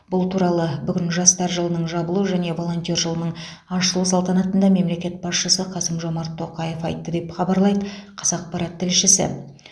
бұл туралы бүгін жастар жылының жабылу және волонтер жылының ашылу салтанатында мемлекет басшысы қасым жомарт тоқаев айтты деп хабарлайды қазақпарат тілшісі